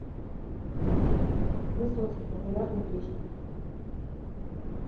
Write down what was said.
высоцкий популярные песни